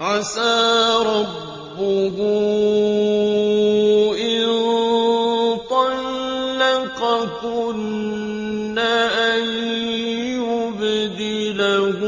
عَسَىٰ رَبُّهُ إِن طَلَّقَكُنَّ أَن يُبْدِلَهُ